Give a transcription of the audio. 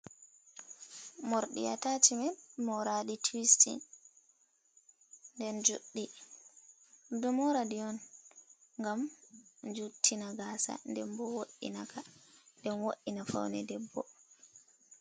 Morɗi atacimen moraɗi tuwistin, nden juɗɗi, ɗum ɗo moraɗi on ngam juttina gaasa nden bo wo"inaka nden bo faune debbo.